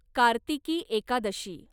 Kartiki Ekadashi